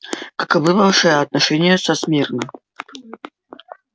каковы ваши отношения со смирно